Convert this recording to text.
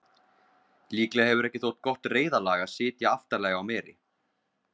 líklega hefur ekki þótt gott reiðlag að sitja aftarlega á meri